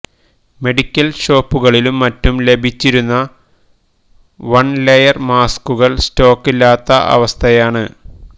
medical ഷോപ്പുകളിലും മറ്റും ലഭിച്ചിരുന്ന വണ് ലെയര് മാസ്ക്കുകള് സ്റ്റോക്കില്ലാത്ത അവസ്ഥയാണ്